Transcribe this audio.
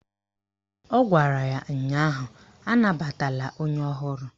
Ọ gwara ya ụnyaahụ "Anabatala onye ọhụrụ"!